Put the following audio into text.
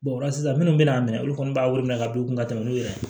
o la sisan minnu bɛna minɛ olu kɔni b'a wele minɛ ka don u kun ka tɛmɛ n'u yɛrɛ ye